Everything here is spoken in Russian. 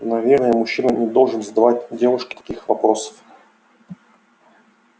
наверное мужчина не должен задавать девушке таких вопросов